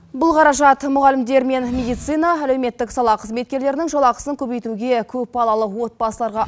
бұл қаражат мұғалімдер мен медицина әлеуметтік сала қызметкерлерінің жалақысын көбейтуге көпбалалы отбасыларға